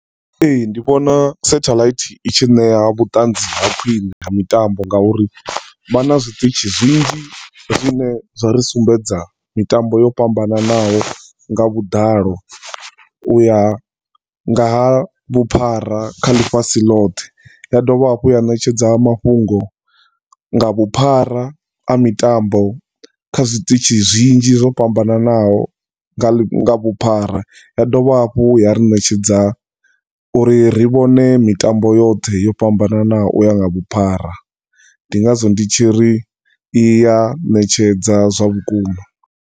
Ee, ndi vhona satheḽaithi i tshi nea vhuṱanzi ha khwine ha mitambo nga uri vha na zwiṱitshi zwinzhi zwine zwa ri sumbedza mitambo yo fhambananaho nga vhuḓalo uya nga ha vhuphara kha ḽifhasi ḽoṱhe, ya dovha hafhu ya netshedza mafhungo nga vhuphara a mitambo kha zwiṱitshi zwinzhi zwo fhambananaho nga ḽi, nga vhuphara. Ya dovha hafhu ya ri ṋetshedza uri ri vhone mitambo yothe yo fhambananaho uya nga vhuphara. Ndi ngazwo ndi tshiri i ya ṋetshedza zwa vhukuma.